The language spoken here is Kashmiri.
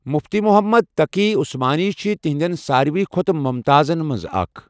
مفتی محمد تقی عثمانی چھ تہنٛدن سارِوٕے کھوتہٕ ممتازن مَنٛز اَکھ.